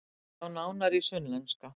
Sjá nánar á Sunnlenska